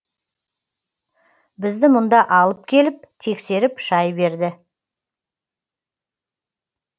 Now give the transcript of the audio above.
бізді мұнда алып келіп тексеріп шай берді